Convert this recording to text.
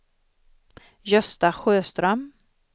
Gösta Sjöström